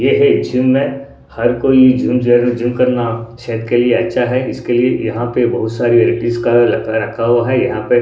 ये एक जिम है हर कोई जिम जॉइन करना सेहत के लिए अच्छा है इसके लिए यहां पे बहुत सारी का लगा रखा हुआ है यहां पे --